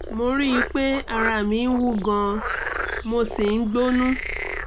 mo rí i pé ara mi ń wú gan - an mo sì ń gbónú